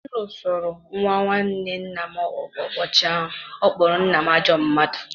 M lụsoro nwa nwanne nna m ọgụ ụbọchị ọ kpọrọ nna m ajọ mmadụ